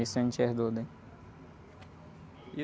Isso a gente herdou dele.